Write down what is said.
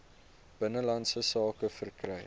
binnelandse sake verkry